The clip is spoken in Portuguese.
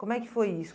Como é que foi isso?